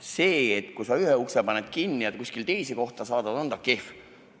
See, kui sa ühe ukse kinni paned ja kuskile teise kohta saadad, on kehv.